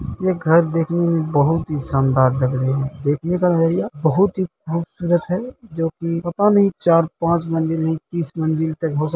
ये घर देखने में बहुत ही शानदार लग रहे हैं | देखने का नजरिया बहुत ही खूबसूरत है जो की पता नहीं चार पांच मंजिल नहीं तीस मंजिल तक हो सकते हैं |